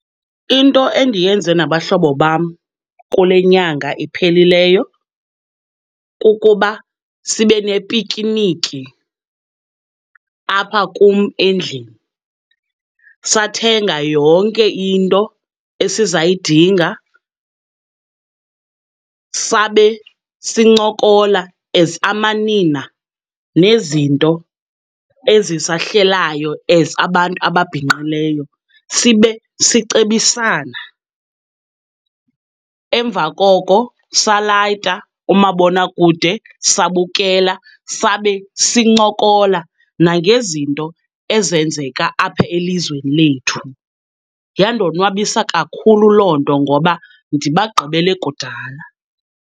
Into endiyenze nabahlobo bam kule nyanga iphelileyo kukuba sibe nepikiniki apha kum endlini. Sathenga yonke into esizayidinga, sabe sincokola as amanina nezinto ezisahlelayo as abantu ababhinqileyo sibe sicebisana. Emva koko salayita umabonakude sabukela sabe sincokola nangezinto ezenzeka apha elizweni lethu. Yandonwabisa kakhulu loo nto ngoba ndibagqibele kudala.